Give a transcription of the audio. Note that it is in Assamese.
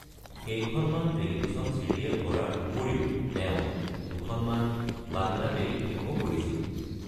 কেইখনমান টেলিভিছন ছিৰিয়েল কৰাৰ উপৰিও তেওঁ দুখনমান বাংলা টেলি-ফিল্মও কৰিছিল।